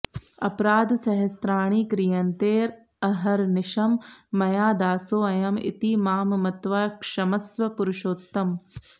अपराध सहस्राणि क्रियन्तेऽहर्निशं मया दासोऽयं इति मां मत्वा क्षमस्व पुरुषोत्तम